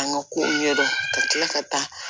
An ka kow ɲɛdɔn ka kila ka taa